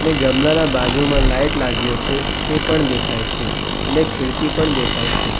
એક ગમલા બાજુમાં લાઈટ લાગ્યો છે તે પણ દેખાય છે અને ખીડકી પણ દેખાય છે.